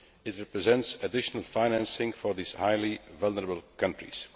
it represents additional financing for these highly vulnerable countries.